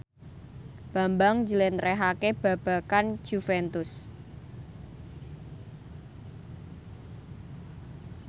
Bambang njlentrehake babagan Juventus